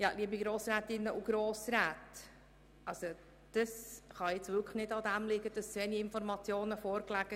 Liebe Grossrätinnen und Grossräte, es kann nun wirklich nicht daran liegen, dass zu wenige Informationen vorlagen.